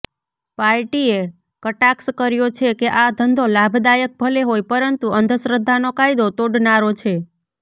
પાર્ટીએ કટાક્ષ કર્યો છે કે આ ધંધો લાભદાયક ભલે હોય પરંતુ અંધશ્રદ્ધાનો કાયદો તોડનારો છે